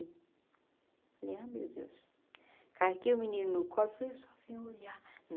Eu falei, ah meu Deus, carreguei o menino no colo falei eu só vim olhar.